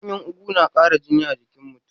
Ganyen ugu na ƙara jini a jikin mutum.